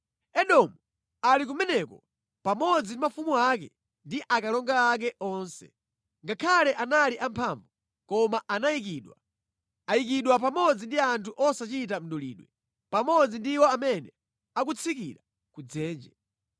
“Edomu ali kumeneko pamodzi ndi mafumu ake ndi akalonga ake onse. Ngakhale anali amphamvu, koma anayikidwa. Ayikidwa pamodzi ndi anthu osachita mdulidwe, pamodzi ndi iwo amene akutsikira ku dzenje.